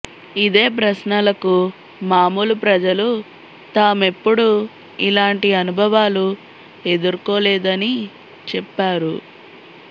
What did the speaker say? ఇదే ప్రశ్నలకు మామూలు ప్రజలు తామెప్పుడూ ఇలాంటి అనుభవాలు ఎదుర్కోలేదని చెప్పారు